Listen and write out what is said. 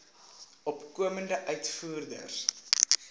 opkomende uitvoerders